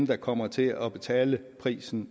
der kommer til at betale prisen